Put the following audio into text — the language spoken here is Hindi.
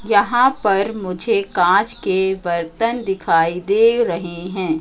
यहां पर मुझे कांच के बर्तन दिखाई दे रहे हैं।